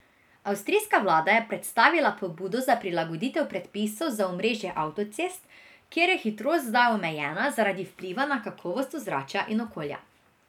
Avstrijska vlada je predstavila pobudo za prilagoditev predpisov za omrežje avtocest, kjer je hitrost zdaj omejena zaradi vpliva na kakovost ozračja in okolja.